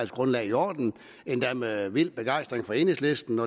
grundlag i orden endda med vild begejstring fra enhedslistens